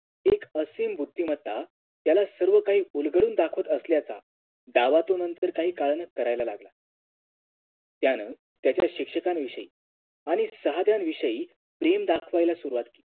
एक असीम बुद्धिमत्ता त्याला सर्व काही उलघडून दाखवत असल्याचा दावा तो नंतर काही काळान करायला लागला त्यानं त्याच्या शिक्षकांविषयी आणि सहाद्यांविषयी प्रेम दाखवाला सुरुवात केली